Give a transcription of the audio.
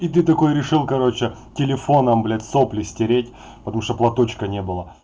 и ты такой решил короче телефоном блять сопли стереть потому что платочка не было